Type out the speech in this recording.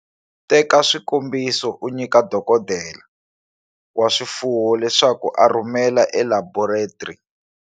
Teka swikombiso u nyika dokodela wa swifuwo leswaku a rhumela elaboretri.